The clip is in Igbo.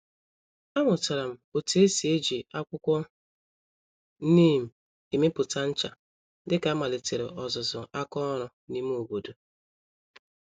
A mụtaram otú esi eji akwụkwọ neem emepụta ncha, dịka a malitere ọzụzụ àkà ọrụ n'ime obodo.